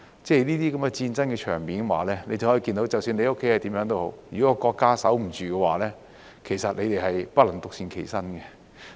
這些戰爭場面讓你知道，即使你的家是怎樣也好，如果國家守不住的話，你們也不能獨善其身。